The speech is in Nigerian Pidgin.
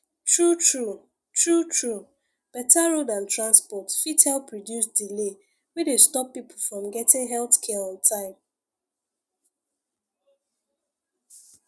truetrue truetrue better road and transport fit help reduce delay wey dey stop people from getting health care on time